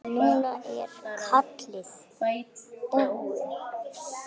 Núna er kallið komið.